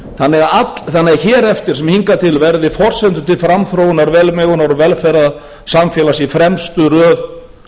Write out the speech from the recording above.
þannig að hér eftir sem hingað til verði forsendur til framþróunar velmegunar og velferðar samfélags í fremstu röð